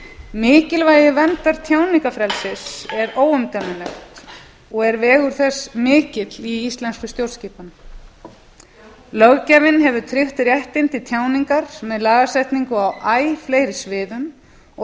mikilvægi verndar tjáningarfrelsis er óumdeilanlegt og er vegur þess mikill í íslenskri stjórnskipan löggjafinn hefur tryggt réttinn til tjáningar með lagasetningu á æ fleiri sviðum og þá